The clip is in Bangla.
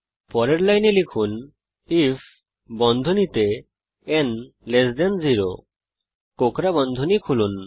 পরের লাইনে লিখুন আইএফ ন 0 কোঁকড়া বন্ধনী খুলুন